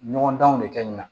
Ɲɔgɔndanw de kɛ ɲina